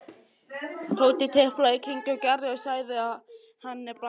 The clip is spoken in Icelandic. Tóti tiplaði í kringum Gerði og sagði henni brandara.